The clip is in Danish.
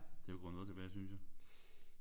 Det er jo gået noget tilbage synes jeg